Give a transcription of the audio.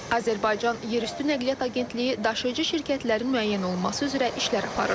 Azərbaycan Yerüstü Nəqliyyat Agentliyi daşıyıcı şirkətlərin müəyyən olunması üzrə işlər aparır.